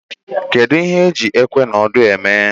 Kedụ ihe eji ikwe na odo eme?